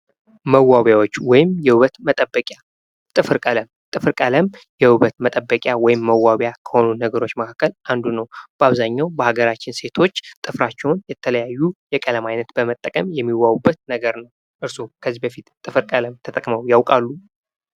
መዋቢያዎች ወይም የውበት መጠበቂያ ጥፍር ቀለም የውበት መጠበቂ ወይም መዋቢያ ከሆኑ ነገሮች መካከል አንዱ ነው በአብዛኛው በሀገራችን ሴቶች ጥፍራቸውን የተለያዩ ቀለም አይነት በመጠቀም የሚዋቢበት ነገር ነው። እርሶ ከዚህ ጥፍር ተጠቅመው ያቃሉ?